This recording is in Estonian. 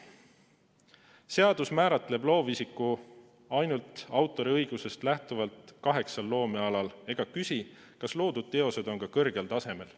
Seadus määratleb loovisiku ainult autoriõigusest lähtuvalt kaheksal loomealal ega küsi, kas loodud teosed on kõrgel tasemel.